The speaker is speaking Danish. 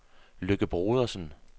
Lykke Brodersen